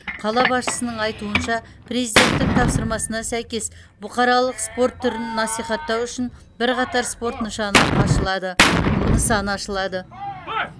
қала басшысының айтуынша президенттің тапсырмасына сәйкес бұқаралық спорт түрін насихаттау үшін бірқатар спорт нышаны ашылады нысаны ашылады